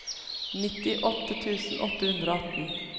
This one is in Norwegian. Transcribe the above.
nittiåtte tusen åtte hundre og atten